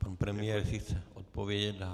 Pan premiér, jestli chce odpovědět.